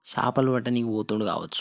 చాపలు పట్ట నేనికి పోతుండు కావొచ్చు.